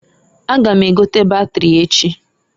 A ga m egote batiri echi.